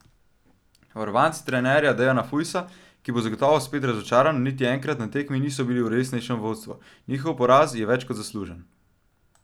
Varovanci trenerja Dejana Fujsa, ki bo zagotovo spet razočaran, niti enkrat na tekmi niso bili v resnejšem vodstvu, njihov poraz je več kot zaslužen.